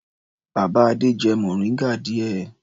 Bàbá Adé jẹ mòríngà díẹ̀.